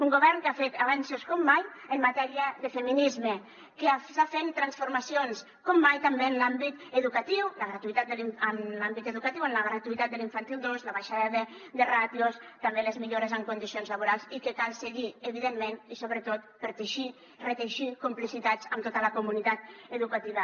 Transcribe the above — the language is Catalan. un govern que ha fet avenços com mai en matèria de feminisme que està fent transformacions com mai també en l’àmbit educatiu la gratuïtat en l’àmbit educatiu la gratuïtat de l’infantil dos la baixada de ràtios també les millores en condicions laborals i que cal seguir evidentment i sobretot per teixir reteixir complicitats amb tota la comunitat educativa